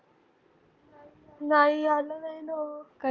नाई अजून